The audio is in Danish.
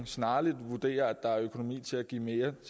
snarligt vil vurdere at der er økonomi til at give mere